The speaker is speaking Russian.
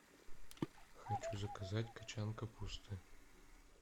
хочу заказать кочан капусты